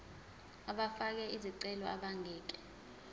abafake izicelo abangeke